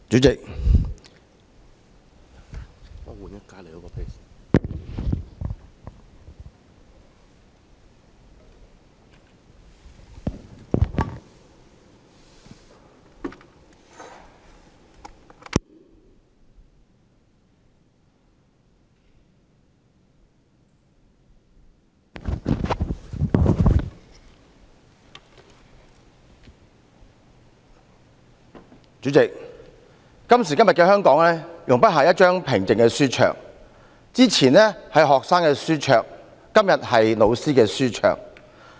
主席，今時今日的香港容不下一張平靜的書桌，之前是學生的書桌，今天是教師的書桌。